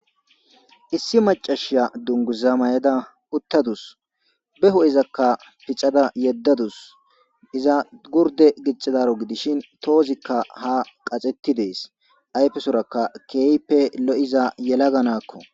Issi macashiya dunguza mayeda uttadus be ho'e izakka piccada yeddadus iza gurde giccadaro gidishin toozikka ha qaxetti dees ayfesorakka keype lo'iza yelaganakko